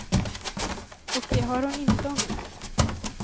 Och det har hon inte ångrat.